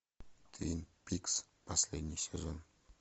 твин пикс последний сезон